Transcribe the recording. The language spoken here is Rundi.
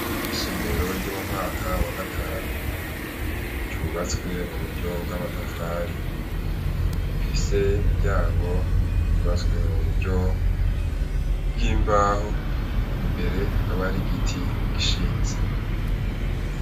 Isomero ryo mu mwaka wa gatanu ryubatswe mu buryo bwa matafari, rifise imiryango yubatswe mu buryo bw'imbaho , imbere yakaba hari igiti gishinze.